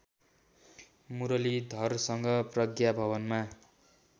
मुरलीधरसँग प्रज्ञा भवनमा